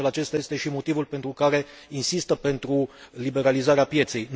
De altfel, acesta este și motivul pentru care insistă pentru liberalizarea pieței.